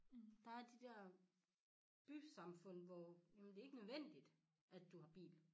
Der er de dér bysamfund hvor jamen det ikke nødvendigt at du har bil